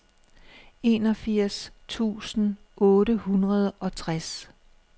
enogfirs tusind otte hundrede og tres